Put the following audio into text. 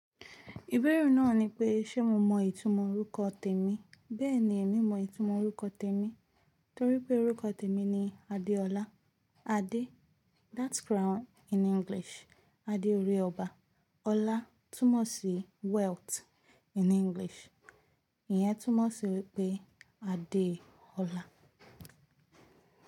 Ìbéèrè náà ni pé ṣe mo mọ ìtumọ̀ orúkọ tèmi? Bẹ́ẹ̀ni mo mọ ìtumọ̀ orúkọ tèmi torí pé orúkọ tèmi ni Adeola. Ade, that's crown in English. Ade orí ọba. Ola túmọ̀ sí wealth in English. Ìyẹn túmọ̀ sí wípé Adeola.